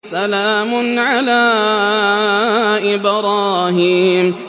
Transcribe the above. سَلَامٌ عَلَىٰ إِبْرَاهِيمَ